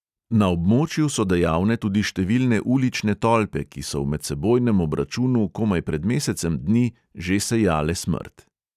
Na območju so dejavne tudi številne ulične tolpe, ki so v medsebojnem obračunu komaj pred mesecem dni že sejale smrt.